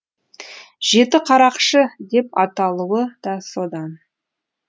жетіқарақшы деп аталуы да содан